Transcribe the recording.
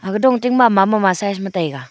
aga dong tingma mama size ma taiga.